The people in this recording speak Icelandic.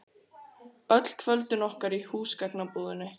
Öll kvöldin okkar í húsgagnabúðinni.